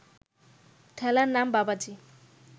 ঠেলার নাম বাবাজি